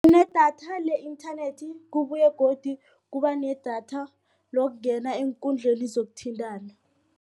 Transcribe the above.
Kunedatha le-internet kubuye godu kubanedatha lokungena eenkundleni zokuthintana.